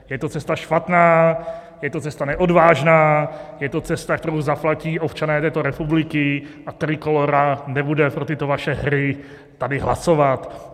Je to cesta špatná, je to cesta neodvážná, je to cesta, kterou zaplatí občané této republiky, a Trikolóra nebude pro tyto vaše hry tady hlasovat.